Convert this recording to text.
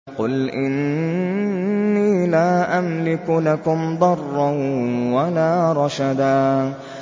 قُلْ إِنِّي لَا أَمْلِكُ لَكُمْ ضَرًّا وَلَا رَشَدًا